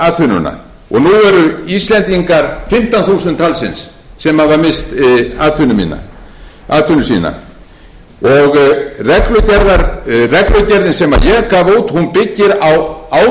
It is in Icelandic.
atvinnuna og nú eru íslendingar fimmtán þúsund talsins sem hafa misst atvinnu sína og reglugerðin sem ég gaf út byggir á ábyrgri